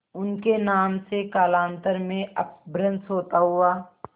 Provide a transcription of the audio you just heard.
उनके नाम से कालांतर में अपभ्रंश होता हुआ